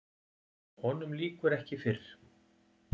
Honum lýkur ekki fyrr.